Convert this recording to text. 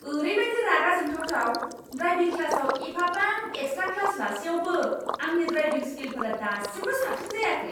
ओरैबायदि रागा जोंथावथाव, ड्रायभिं क्लासाव एफाबां एक्सट्रा क्लास लासेयावबो आंनि ड्रायभिं स्किलफोरा दासिमबो साबसिन जायाखै!